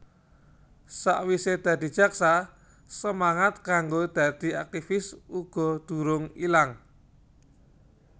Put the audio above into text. Sakwise dadi jaksa semangat kanggo dadi aktifis uga durung ilang